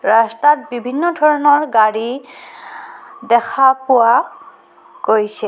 ৰাস্তাত বিভিন্ন ধৰণৰ গাড়ী দেখা পোৱা গৈছে।